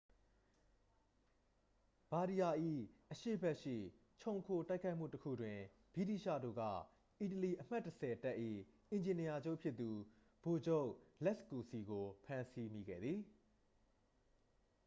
ဘာဒီရာ ၏ အရှေ့ဘက်ရှိ ချုံခိုတိုက်ခိုက်မှုတစ်ခုတွင် ဗြိတိသျှတို့က အီတလီ အမှတ် 10 တပ်၏ အင်ဂျင်နီယာချုပ်ဖြစ်သူ ဗိုလ်ချုပ် လက်စ်ကူစီ ကို ဖမ်းဆီးမိခဲ့သည်